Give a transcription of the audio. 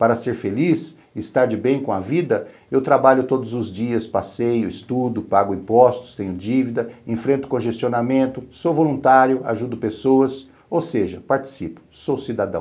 Para ser feliz, estar de bem com a vida, eu trabalho todos os dias, passeio, estudo, pago impostos, tenho dívida, enfrento congestionamento, sou voluntário, ajudo pessoas, ou seja, participo, sou cidadão.